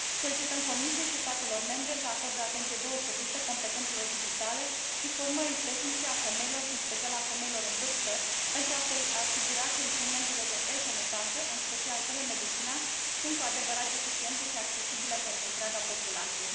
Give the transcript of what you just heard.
Solicităm Comisiei și statelor membre să acorde o atenție deosebită competențelor digitale și formării tehnice a femeilor și, în special, a femeilor în vârstă, pentru a se asigura că instrumentele de e Sănătate, în special telemedicina, sunt cu adevărat eficiente și accesibile pentru întreaga populație.